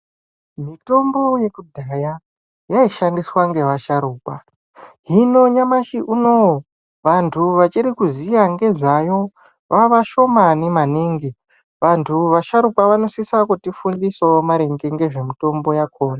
Mitombo yekudhaya yaishandiswa nevasharukwa hino nyamashi unowu vantu vachiri kuziva nezvayo vava vashomani maningi vantu vasharukwa vanosisa kuti fundisa maringe ngezvemitombo yakona.